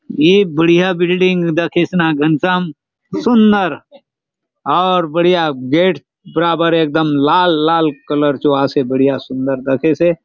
ए बढ़िया बिल्डिंग दखेसे न घनश्याम सुंदर और बढ़िया गेट बराबर एक दम लाल - लाल कलर चो आसे बढ़िया सुंदर दखेसे ।